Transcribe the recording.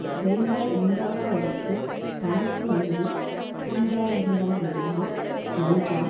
செல்வம் உண்டாக்குவதற்குத் தனக்குமுன்பு தீதாயிருந்தனவெல்லாம் நன்றாம்